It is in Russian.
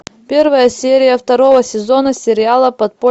первая серия второго сезона сериала